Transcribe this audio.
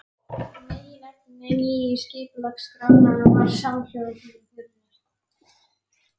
Meginefni nýju skipulagsskrárinnar var samhljóða þeirri fyrri.